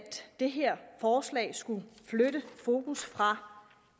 det her forslag skulle flytte fokus fra